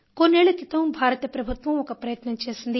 కొన్నేళ్ళ క్రితం భారత ప్రభుత్వం ఒక ప్రయత్నం చేసింది